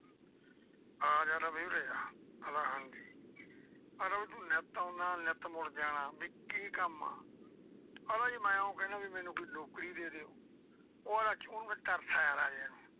ਆਜਾ ਬਈ ਉਰੇ ਆ ਕਹਿੰਦਾ ਹਾਂਜੀ ਕਹਿੰਦਾ ਤੂੰ ਨਿੱਤ ਆਉਣਾ ਨਿੱਤ ਮੁੜ ਜਾਨਾ, ਵੀ ਕੀ ਕੰਮ ਆ। ਆਂਹਦਾ ਮੈਂ ਇਉਂ ਕਹਿਨਾ ਵੀ ਮੈਨੂੰ ਕੋਈ ਨੌਕਰੀ ਦੇ ਦਿਓ। ਉਹ ਅਹੰਦਾ ਤਰਸ ਆਇਆ ਰਾਜੇ ਨੂੰ।